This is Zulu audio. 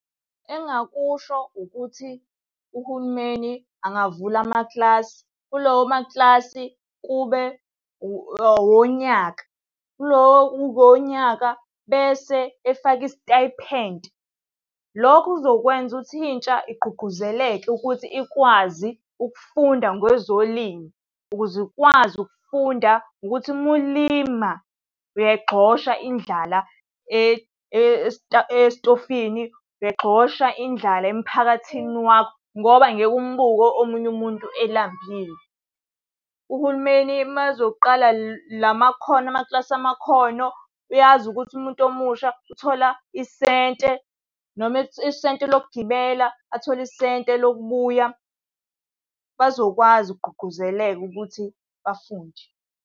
Engingakusho ukuthi uhulumeni angavula amakilasi. Kulawo makilasi kube awonyaka, kulo uwonyaka, bese efaka isitayiphenti. Lokhu kuzokwenza ukuthi intsha igqugquzeleke ukuthi ikwazi ukufunda ngezolimo. Ukuze ikwazi ukufunda ukuthi uma ulima uyayigxosha indlala esitofini, uyayigxosha indlala emphakathini wakho ngoba ngeke umubuke omunye umuntu elambile. Uhulumeni uma ezoqala la makhono, amakilasi amakhono, uyazi ukuthi umuntu omusha uthola isente noma isente lokugibela, athole isente lokubuya. Bazokwazi ukugqugquzeleka ukuthi bafunde.